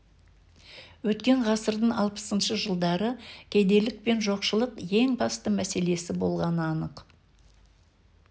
өткен ғасырдың алпысыншы жылдары кедейлік пен жоқшылық ең басты мәселесі болғаны анық